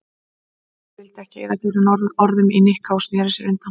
Kamilla vildi ekki eyða fleiri orðum í Nikka og snéri sér undan.